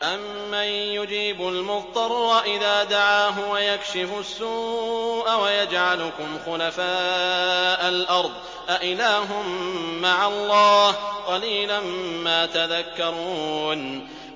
أَمَّن يُجِيبُ الْمُضْطَرَّ إِذَا دَعَاهُ وَيَكْشِفُ السُّوءَ وَيَجْعَلُكُمْ خُلَفَاءَ الْأَرْضِ ۗ أَإِلَٰهٌ مَّعَ اللَّهِ ۚ قَلِيلًا مَّا تَذَكَّرُونَ